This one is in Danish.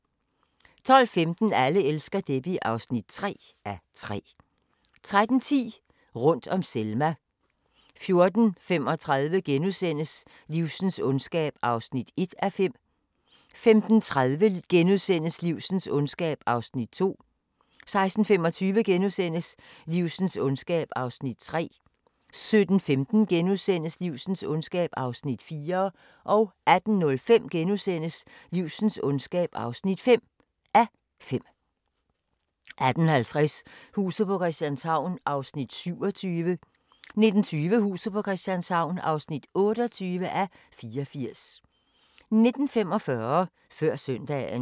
12:15: Alle elsker Debbie (3:3) 13:10: Rundt om Selma 14:35: Livsens ondskab (1:5)* 15:30: Livsens ondskab (2:5)* 16:25: Livsens ondskab (3:5)* 17:15: Livsens ondskab (4:5)* 18:05: Livsens ondskab (5:5)* 18:50: Huset på Christianshavn (27:84) 19:20: Huset på Christianshavn (28:84) 19:45: Før Søndagen